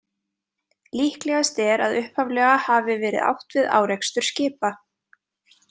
Líklegast er að upphaflega hafi verið átt við árekstur skipa.